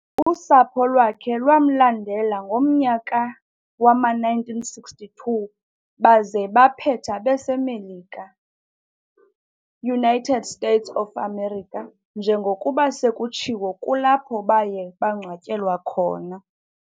Usapho lwakhe lwamlandela ngomnyaka wama-1962 baze baphetha beseMelika, United States of America, njengokuba sekutshiwo kulapho baye bangcwatyelwa khona.